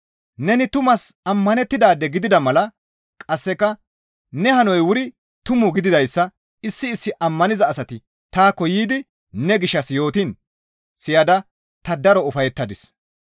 Neni tumaas ammanettidaade gidida mala qasseka ne hanoy wuri tumu gididayssa issi issi ammaniza asati taakko yiidi ne gishshas yootiin siyada ta daro ufayettadis.